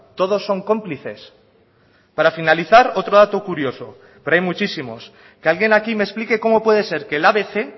todos son cómplices para finalizar otro dato curioso pero hay muchísimos que alguien aquí me explique cómo puede ser que el abc